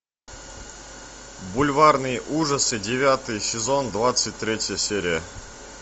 бульварные ужасы девятый сезон двадцать третья серия